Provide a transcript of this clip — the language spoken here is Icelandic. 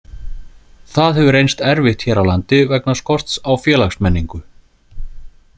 Það hefur reynst erfitt hér á landi vegna skorts á félagsmenningu.